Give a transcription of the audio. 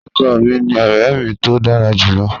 Ọkọ mi ni ọrẹ mi to dara julọ.